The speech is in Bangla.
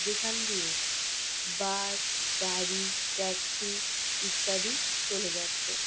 যেখান দিয়ে বাস গাড়ি ট্যাক্সি ইত্যাদি চলে যাচ্ছে।